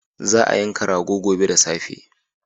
Za a yanka rago gobe da safe.